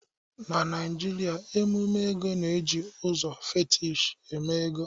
Na Naijiria emume ego na-eji ụzọ fetish eme ego